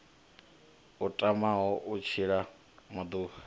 a tamaho u tshila maḓuvha